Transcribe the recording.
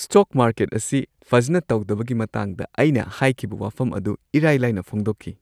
Stock market ꯑꯁꯤ ꯐꯖꯅ ꯇꯧꯗꯕꯒꯤ ꯃꯇꯥꯡꯗ ꯑꯩꯅ ꯍꯥꯏꯈꯤꯕ ꯋꯥꯐꯝ ꯑꯗꯨ ꯏꯔꯥꯏ ꯂꯥꯏꯅ ꯐꯣꯡꯗꯣꯛꯈꯤ ꯫